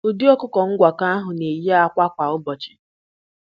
Ụdị ọkụkọ ngwakọ ahụ na-eyi ákwà kwa ụbọchị.